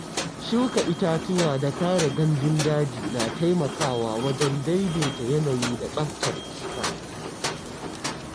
Shuka itatuwa da kare gandun daji na taimakawa wajen daidaita yanayi da tsaftar iska.